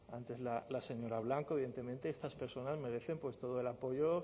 antes la señora blanco evidentemente estas personas merecen pues todo el apoyo